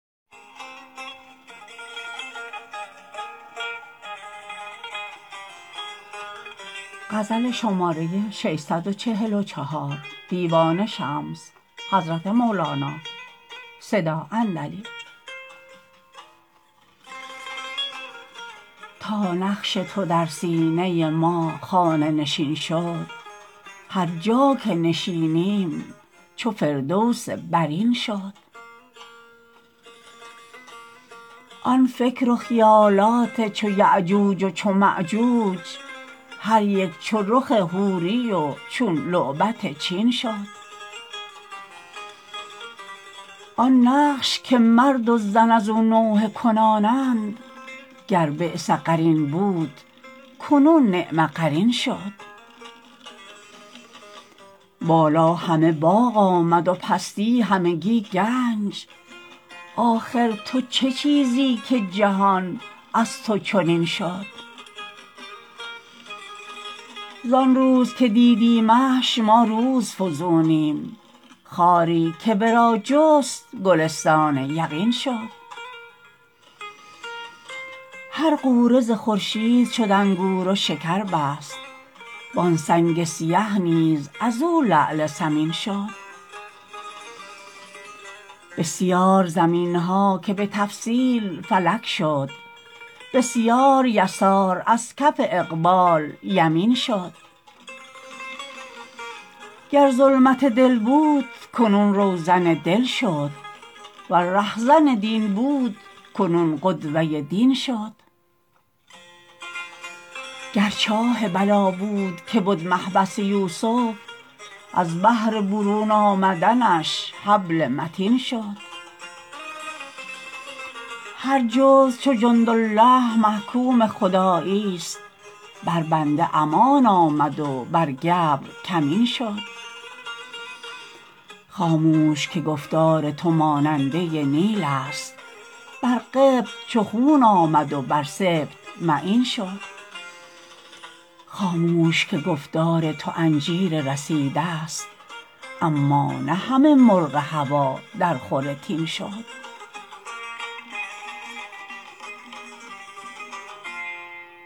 تا نقش تو در سینه ما خانه نشین شد هر جا که نشینیم چو فردوس برین شد آن فکر و خیالات چو یأجوج و چو مأجوج هر یک چو رخ حوری و چون لعبت چین شد آن نقش که مرد و زن از او نوحه کنانند گر بیس قرین بود کنون نعم قرین شد بالا همه باغ آمد و پستی همگی گنج آخر تو چه چیزی که جهان از تو چنین شد زان روز که دیدیمش ما روزفزونیم خاری که ورا جست گلستان یقین شد هر غوره ز خورشید شد انگور و شکر بست وان سنگ سیه نیز از او لعل ثمین شد بسیار زمین ها که به تفصیل فلک شد بسیار یسار از کف اقبال یمین شد گر ظلمت دل بود کنون روزن دل شد ور رهزن دین بود کنون قدوه دین شد گر چاه بلا بود که بد محبس یوسف از بهر برون آمدنش حبل متین شد هر جزو چو جندالله محکوم خداییست بر بنده امان آمد و بر گبر کمین شد خاموش که گفتار تو ماننده نیلست بر قبط چو خون آمد و بر سبط معین شد خاموش که گفتار تو انجیر رسیدست اما نه همه مرغ هوا درخور تین شد